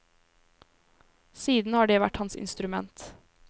Siden har det vært hans instrument.